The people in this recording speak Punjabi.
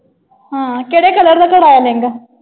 ਹਾਂ। ਕਿਹੜੇ color ਦਾ ਕਰਾਇਆ ਲਹਿੰਗਾ?